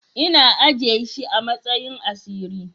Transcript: Ina ajiye shi amasayin asiri.